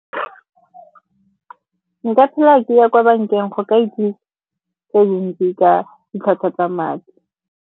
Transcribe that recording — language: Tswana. Nka phela ke ya kwa bankeng go ka itse tse dintsi ka ditlhwatlhwa tsa madi.